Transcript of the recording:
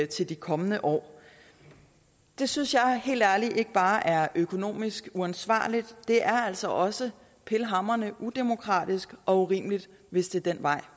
til de kommende år det synes jeg helt ærligt ikke bare er økonomisk uansvarligt det er altså også pivhamrende udemokratisk og urimeligt hvis det er den vej